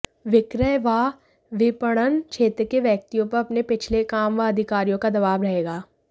विक्रय व विपणन क्षेत्र के व्यक्तियों पर अपने पिछले काम व अधिकारियों का दबाव रहेगा